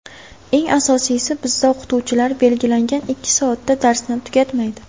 Eng asosiysi, bizda o‘qituvchilar belgilangan ikki soatda darsni tugatmaydi.